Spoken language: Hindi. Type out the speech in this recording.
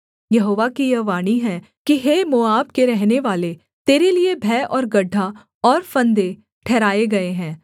यहोवा की यह वाणी है कि हे मोआब के रहनेवाले तेरे लिये भय और गड्ढा और फंदे ठहराए गए हैं